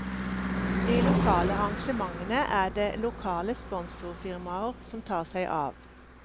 De lokale arrangementene er det lokale sponsorfirmaer som tar seg av.